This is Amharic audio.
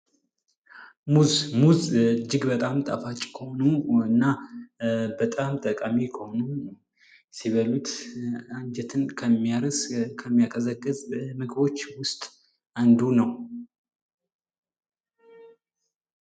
ሙዝ ፦ ሙዝ እጅግ በጣም ጣፋጭ ከሆኑ እና በጣም ጠቃሚ ከሆኑ ፣ ሲበሉት አንጀትን ከሚያርስ ፤ ከሚያቀዘቅዝ ምግቦች ውስጥ አንዱ ነው ።